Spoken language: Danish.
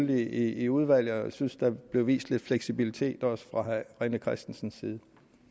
det i udvalget jeg synes da der blev vist lidt fleksibilitet også fra herre rené christensens side